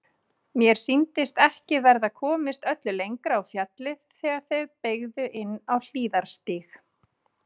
Mér sýndist ekki verða komist öllu lengra á fjallið þegar þeir beygðu inn á hliðarstíg.